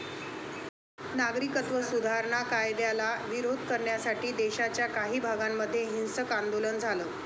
नागरिकत्व सुधारणा कायद्याला विरोध करण्यासाठी देशाच्या काही भागांमध्ये हिंसक आंदोलन झालं.